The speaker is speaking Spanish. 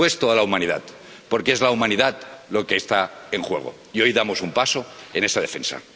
Y después toda la humanidad, porque es la humanidad lo que está en juego y hoy damos un paso en esa defensa.